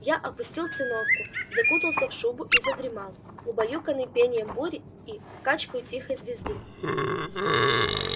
я опустил циновку закутался в шубу и задремал убаюканный пением бури и качкою тихой езды